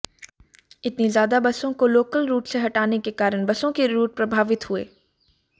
इतनी ज्यादा बसों को लोकल रूट से हटाने के कारण बसों के रूट प्रभावित हुए